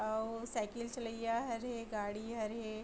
अउ साइकिल चलईया हरे गाड़ी हरे --